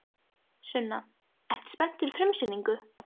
Sunna: Ertu spenntur fyrir frumsýningu?